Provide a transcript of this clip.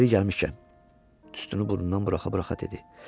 Yeri gəlmişkən, tüstünü burnundan buraxa-buraxa dedi.